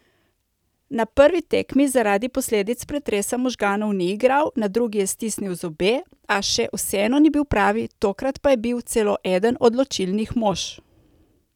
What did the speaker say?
Na prvi tekmi zaradi posledic pretresa možganov ni igral, na drugi je stisnil zobe, a še vseeno ni bil pravi, tokrat pa je bil celo eden odločilnih mož.